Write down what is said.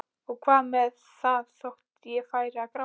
Og hvað með það þótt ég færi að gráta?